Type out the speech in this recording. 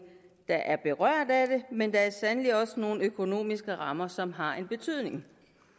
der er berørt af det men der er sandelig også nogle økonomiske rammer som har en betydning